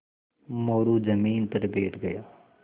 मोरू ज़मीन पर बैठ गया